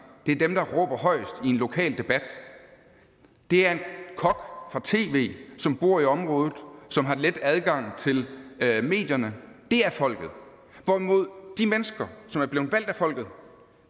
det er dem der råber højest i en lokal debat det er en kok fra tv som bor i området som har let adgang til medierne er folket hvorimod de mennesker som er blevet valgt af folket